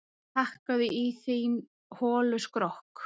Hakkaðu í þinn hola skrokk,